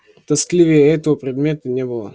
тоскливее этого предмета не было